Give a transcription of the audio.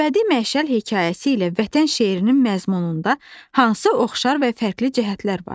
Əbədi məşəl hekayəsi ilə Vətən şeirinin məzmununda hansı oxşar və fərqli cəhətlər var?